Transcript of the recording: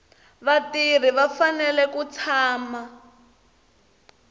vatirhi va fanele ku tshama